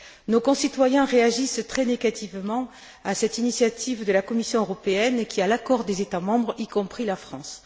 Nos concitoyens réagissent très négativement à cette initiative de la Commission européenne, qui a l'accord des États membres, y compris la France.